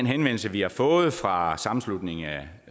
henvendelse vi har fået fra sammenslutningen af